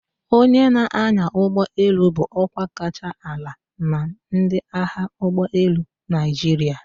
Onye na-anya ụgbọ elu bụ ọkwa kacha ala na ndị agha ụgbọelu Naịjirịa.